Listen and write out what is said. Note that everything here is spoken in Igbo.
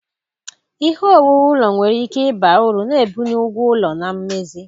Ihe owuwu ụlọ nwere ike ịba uru, na-ebuli ụgwọ ụlọ na mmezi.